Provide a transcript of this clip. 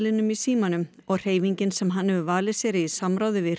hreyfiseðlinum í símanum og hreyfingin sem hann hefur valið sér í samráði við